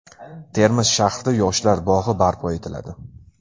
Termiz shahrida yoshlar bog‘i barpo etiladi.